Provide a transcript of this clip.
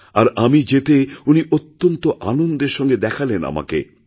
আর আমি যেতে উনি অত্যন্ত আনন্দের সঙ্গে দেখালেন আমাকে